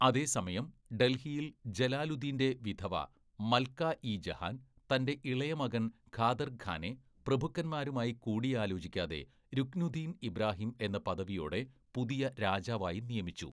അതേസമയം, ഡൽഹിയിൽ ജലാലുദ്ദീന്റെ വിധവ മൽകാ ഇ ജഹാൻ തന്റെ ഇളയ മകൻ ഖാദർ ഖാനെ പ്രഭുക്കന്മാരുമായി കൂടിയാലോചിക്കാതെ രുക്നുദ്ദീൻ ഇബ്രാഹിം എന്ന പദവിയോടെ പുതിയ രാജാവായി നിയമിച്ചു.